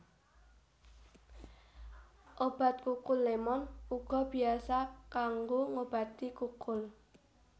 Obat kukul lémon uga biasa kanggo ngobati kukul